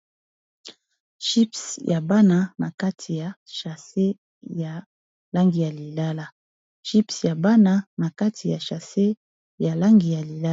Chips ya bana na kati ya chase ya langi ya lilala.